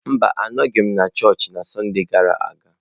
Mba, anọghị m na chọọchị na Sọnde gara aga.